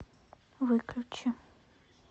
выключи